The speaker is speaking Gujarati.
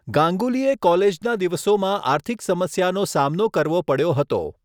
ગાંગુલીએ કોલેજના દિવસોમાં આર્થિક સમસ્યાનો સામનો કરવો પડ્યો હતો.